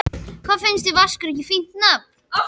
Finnst þér Vaskur ekki fínt nafn?